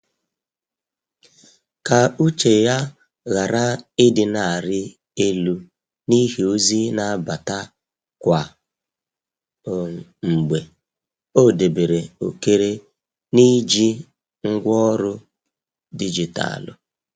Ka uche ya ghara ị dị na arị elu n’ihi ozi n'abata kwa um mgbe, ọ debere ókère n’iji ngwaọrụ dijitalụ.